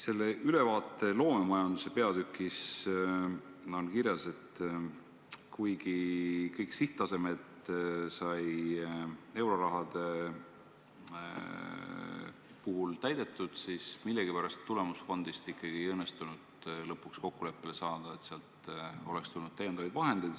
Selle ülevaate loomemajanduse peatükis on kirjas, et kuigi kõik sihttasemed sai eurorahade puhul täidetud, siis millegipärast tulemusfondi puhul ikkagi ei õnnestunud kokkuleppele saada, et sealt oleks tulnud täiendavaid vahendeid.